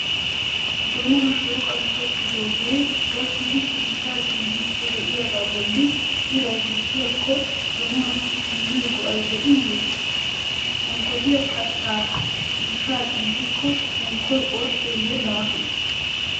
Donuwaa shooqan tokkidoogee gakkidi ciishsha ciiyyiydi de'iyaaga bolli iray bukkikobha donuwassi immiyo go"i de'iyye? Unkkotiya kattaa ciishshaa ciiyiko unkkoy orddeyye laafe?